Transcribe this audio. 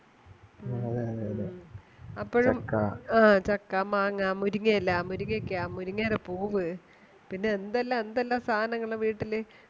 അതെ അതെ അതെ അപ്പോഴും ചക്ക, ആ ചക്ക മാങ്ങാ മുരിങ്ങയില മുരിങ്ങക്ക മുരിങ്ങേടെ പൂവ് പിന്നെ എന്തെല്ലാം എന്തെല്ലാം സാധനങ്ങൾ വീട്ടില്